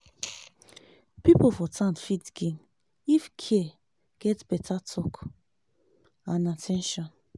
people for town fit gain if care get better talk and at ten tion.